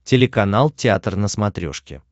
телеканал театр на смотрешке